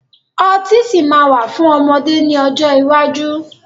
Ọtí sì máa wà fún ọmọdé ni ọjọ́ iwájú